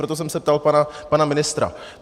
Proto jsem se ptal pana ministra.